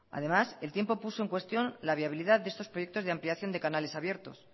además el tiempo puso en cuestión la viabilidad de estos proyectos de ampliación de canales abiertos